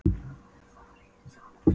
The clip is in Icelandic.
Ef það var hitt, sagði hann æstur: